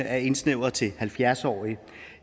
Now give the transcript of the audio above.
er indsnævret til halvfjerds årige